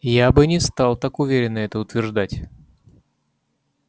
я бы не стал так уверенно это утверждать